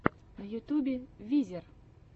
на ютьюбе визер